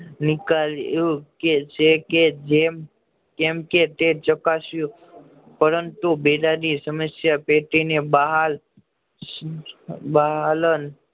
નીકળ્યું કે છે કે જેમ કે તે ચક્સ્યુ પરંતુ સમસ્યા પેટી ને બહાર બહાર